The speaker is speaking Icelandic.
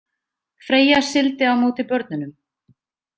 Freyja sigldi á móti börnunum.